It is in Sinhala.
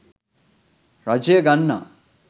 රජය ගන්නා